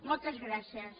moltes gràcies